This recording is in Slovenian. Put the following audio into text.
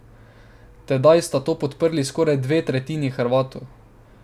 Tedaj sta to podprli skoraj dve tretjini Hrvatov.